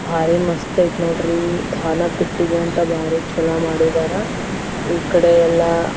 Than ಪೆಟ್ಟಿಗೆ ಅಂತ ಹಾಕ್ಯಾರ್ ಇಲ್ಲೇ.